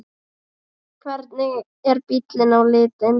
Hvernig er bíllinn á litinn?